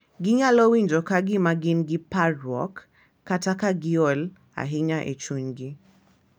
Ginyalo winjo ka gin gi parruok, parruok, kata ka giol ahinya e chunygi.